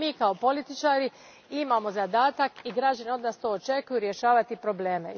A mi kao političari imamo zadatak i građani to od nas očekuju, rješavati probleme.